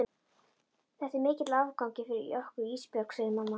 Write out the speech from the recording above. Þetta er mikill áfangi fyrir okkur Ísbjörg, segir mamma.